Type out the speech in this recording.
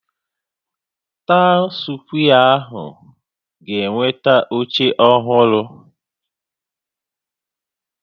Taụn skwee ahụ ga-enweta oche ọhụrụ